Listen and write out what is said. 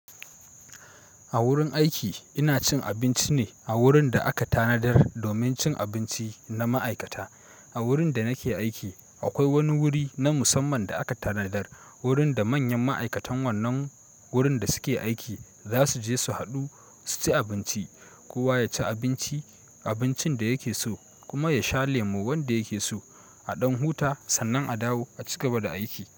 A wurin aiki ina cin abinci ne a wurin da aka tanadar domin cin abinci na ma'aikata. A wurin da nake aiki akwai wani wuri na musamman da aka tanadar wurin da manyan ma'aikatan wannan wurin da suke aiki za su je su haɗu su ci abinci. Kowa ya ci abinci, abincin da yake so kuma ya sha lemo wanda yake so. A ɗan huta sannan a dawo a cigaba da aiki.